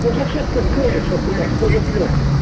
ну зачем ты звонишь а блять хуеплет то